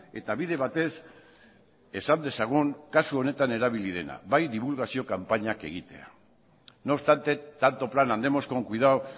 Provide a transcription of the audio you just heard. eta bide batez esan dezagun kasu honetan erabili dena bai dibulgazio kanpainak egitea no obstante tanto plan andemos con cuidado